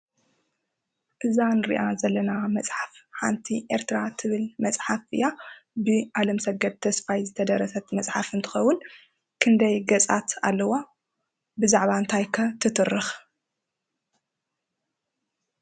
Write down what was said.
እዛ እንርእያ ዘለና መፅሓፍ ሓንቲ ኤርትራ እትብል መፅሓፍ እያ። ብ ኣለምሰገድ ተስፋይ ዝተደረሰት መፅሓፍ እንትትኸውን ክንደይ ገፃት ኣለዋ? ብዛዕባ እንታይ ከ ትትርኽ?